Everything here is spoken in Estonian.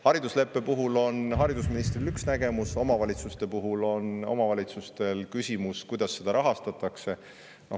Haridusleppe puhul on haridusministril üks nägemus, omavalitsustel on küsimus, kuidas seda rahastatakse.